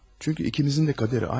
Çünki ikimizin də qədəri aynı.